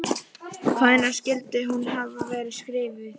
Hvenær skyldi hún hafa verið skrifuð?